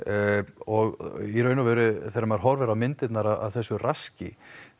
og þegar maður horfir á myndirnar af þessu raski